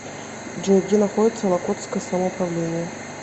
джой где находится локотское самоуправление